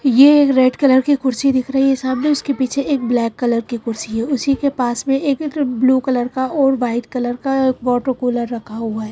ये एक red colour की कुर्सी दिख रही है सामने उसके पीछे एक ब्लैक कलर की कुर्सी है उसी के पास में एक एक ब्लू कलर का और व्हाइट कलर का वॉटर कूलर रखा हुआ है।